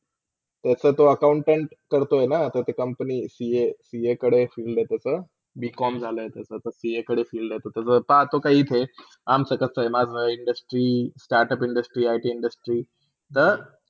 तसा ते accountant करतोयणा? तर होत company ca-ca कडे field आहे त्यारा bcom झाला आहे त्याचा पा कडे field त्याचा तर तो काही अमचा कसा आहे माझा Industry, startup industry it industry तर.